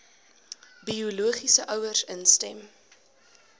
biologiese ouers instem